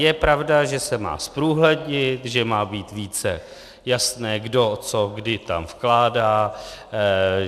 Je pravda, že se má zprůhlednit, že má být více jasné kdo co kdy tam vkládá.